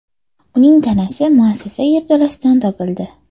Uning tanasi muassasa yerto‘lasidan topildi.